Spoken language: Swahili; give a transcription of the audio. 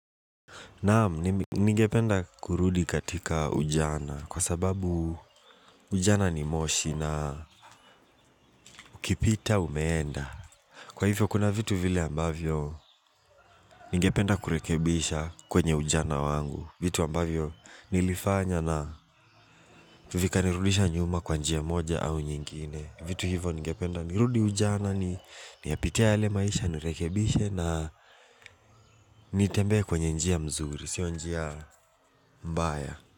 Naam, ningependa kurudi katika ujana kwa sababu ujana ni moshi na ukipita umeenda. Kwa hivyo, kuna vitu vile ambavyo ningependa kurekebisha kwenye ujana wangu. Vitu ambavyo nilifanya na vika nirudisha nyuma kwa njia moja au nyingine. Vitu hivyo ningependa nirudi ujana, niyapitia ule maisha, nirekebisha na nitembe kwenye njia mzuri, sio njia mbaya.